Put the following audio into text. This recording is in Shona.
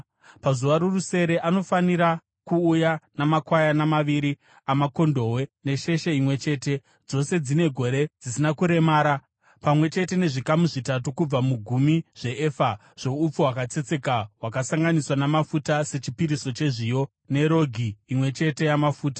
“Pazuva rorusere anofanira kuuya namakwayana maviri amakondobwe nesheshe imwe chete, dzose dzine gore dzisina kuremara, pamwe chete nezvikamu zvitatu kubva mugumi zveefa zvoupfu hwakatsetseka hwakasanganiswa namafuta sechipiriso chezviyo nerogi imwe chete yamafuta.